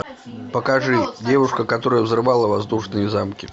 покажи девушка которая взрывала воздушные замки